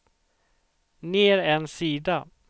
ner en sida